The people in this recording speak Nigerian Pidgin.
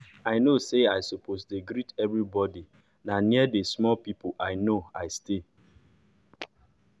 i know say i suppose dey greet everybody na near d small people i know i stay